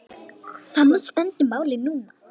Þannig stendur málið núna.